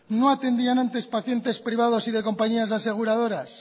no atendían antes pacientes privados y de compañías aseguradoras